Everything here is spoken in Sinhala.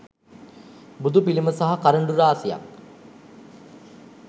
බුදුපිළිම සහ කරඬු රාශියක්